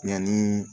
Yanni